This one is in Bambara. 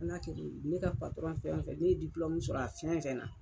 Fɔ n'a kɛr'o ye ne ka fɛn fɛn ne ye sɔrɔ a fɛn fɛn na.